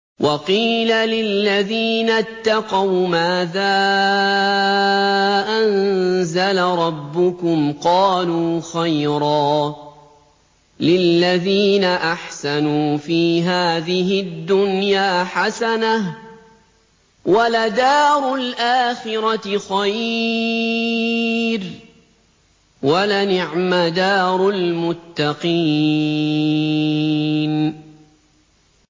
۞ وَقِيلَ لِلَّذِينَ اتَّقَوْا مَاذَا أَنزَلَ رَبُّكُمْ ۚ قَالُوا خَيْرًا ۗ لِّلَّذِينَ أَحْسَنُوا فِي هَٰذِهِ الدُّنْيَا حَسَنَةٌ ۚ وَلَدَارُ الْآخِرَةِ خَيْرٌ ۚ وَلَنِعْمَ دَارُ الْمُتَّقِينَ